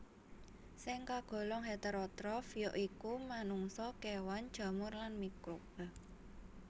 Sing kagolong heterotrof ya iku manungsa kewan jamur lan mikroba